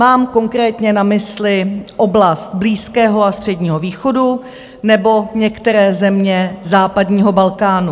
Mám konkrétně na mysli oblast Blízkého a Středního východu nebo některé země západního Balkánu.